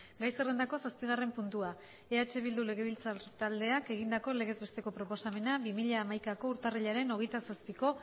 gai zerrendako zazpigarren puntua eh bildu legebiltzar taldeak egindako legez besteko proposamena bi mila hamaikako urtarrilaren hogeita zazpiko